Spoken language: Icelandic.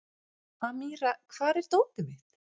Amíra, hvar er dótið mitt?